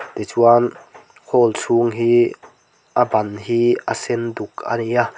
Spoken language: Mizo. tichuan hall chhung hi a ban hi a sen duk a ni a.